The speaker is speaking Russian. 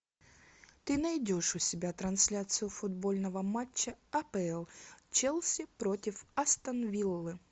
ты найдешь у себя трансляцию футбольного матча апл челси против астон виллы